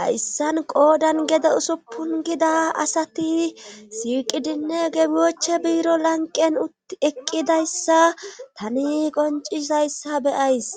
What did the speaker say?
hayssan qoodan gede usuppun gida asati siiqidinne geboche biiro lanqen teqqidayssa tani qoncizayssa beyays